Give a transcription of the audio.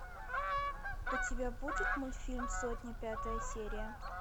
у тебя будет мультфильм сотня пятая серия